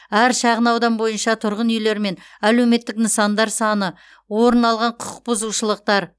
әр шағынаудан бойынша тұрғын үйлермен әлеуметтік нысандар саны орын алған құқықбұзушылықтар